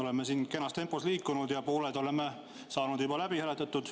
Oleme kenas tempos edasi liikunud ja pooled muudatusettepanekud oleme saanud juba läbi hääletatud.